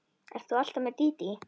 Ert þú alltaf með Dídí?